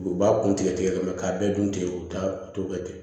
U b'a kun tigɛ tigɛ mɛ k'a bɛɛ dun ten u bɛ taa u t'o kɛ ten